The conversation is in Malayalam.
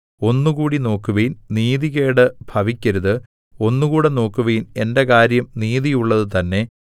ഒന്നുകൂടി നോക്കുവിൻ നീതികേട് ഭവിക്കരുത് ഒന്നുകൂടെ നോക്കുവിൻ എന്റെ കാര്യം നീതിയുള്ളത് തന്നേ